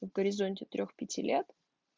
горизонте трёх пяти лет